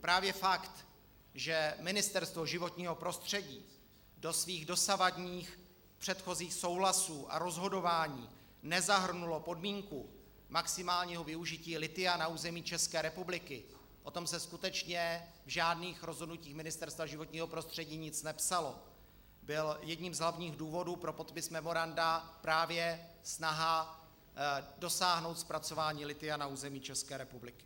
Právě fakt, že Ministerstvo životního prostředí do svých dosavadních předchozích souhlasů a rozhodování nezahrnulo podmínku maximálního využití lithia na území České republiky, o tom se skutečně v žádných rozhodnutích Ministerstva životního prostředí nic nepsalo, byl jedním z hlavních důvodů pro podpis memoranda - právě snaha dosáhnout zpracování lithia na území České republiky.